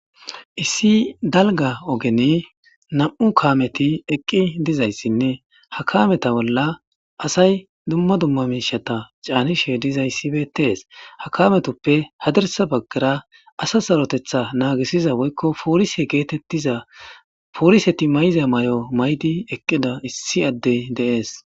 issi dalga ogeni nam7u kameti eqqi dizayssinne ha kameta bolla asay dumma dumma miishata caanishe dizayssibetees ha kametoppe hadarsa baggara asa sarotetha naagisiza woykko poolise geetettiza pooliseti mayiza may7o may7di eqqida issi addey deees